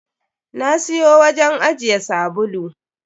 Na siyo wajen ajiye sabulu.